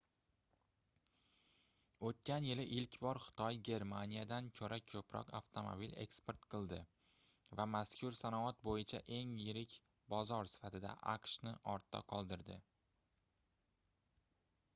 oʻtgan yili ilk bor xitoy germaniyadan koʻra koʻproq avtomobil eksport qildi va mazkur sanoat boʻyicha eng yirik bozor sifatida aqshni ortda qoldirdi